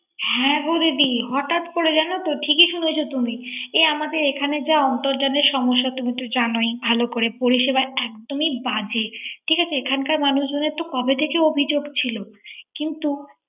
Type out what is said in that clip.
হ্যা গো দিদি হঠাৎ করে জানো তো ঠিকই শুনেছ তুমি। এই আমাদের এখানে যা অন্তরজানের সমস্যা তুমিতে জানো ভালো করেই। পরিসেবা একদমই বাজে। ঠিক আছে, এখানকার মানুষজনের তো কবে থেকেই অভিযোগ ছিল। কিন্ত